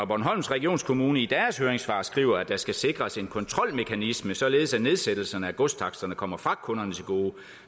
bornholms regionskommune i deres høringssvar skriver at der skal sikres en kontrolmekanisme således at nedsættelserne af godstaksterne kommer fragtkunderne til gode